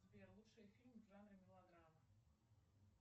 сбер лучшие фильмы в жанре мелодрама